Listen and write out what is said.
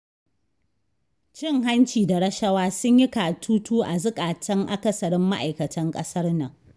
Cin hanci da rashawa sun yi katutu a zukatan akasarin ma'aikatan ƙasar nan.